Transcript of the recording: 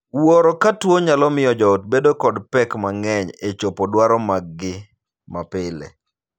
Wuoro ka tuo nyalo miyo joot bedo kod pek mang'eny e chopo dwaro maggi ma pile.